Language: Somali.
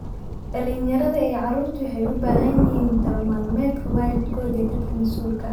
Dhallinyarada iyo carruurtu waxay u baahan yihiin talo-maalmeedka waalidkood iyo dadka masuulka kaah.